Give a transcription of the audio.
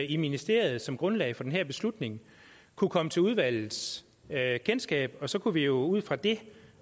i ministeriet som grundlag for den her beslutning kunne komme til udvalgets kendskab så kunne vi jo ud fra det